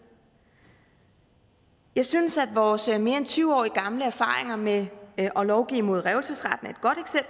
jeg synes at vores mere end tyve år gamle erfaringer med at lovgive mod revselsesretten